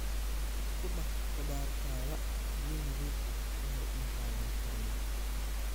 Ku dhaq khudaartaada biyo nadiif ah ka hor intaadan karinin.